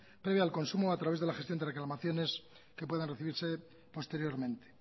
previo al consumo a través de la gestión de reclamaciones que puedan recibirse posteriormente